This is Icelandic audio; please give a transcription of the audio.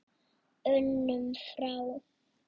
unum frá.